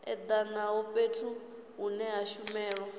edanaho fhethu hune ha shumelwa